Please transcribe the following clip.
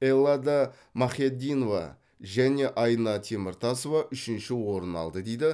эллада махяддинова және айна теміртасова үшінші орын алды дейді